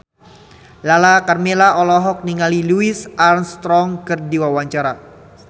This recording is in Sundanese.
Lala Karmela olohok ningali Louis Armstrong keur diwawancara